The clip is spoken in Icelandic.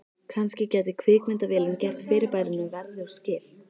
Kannski gæti kvikmyndavélin gert fyrirbærinu verðug skil.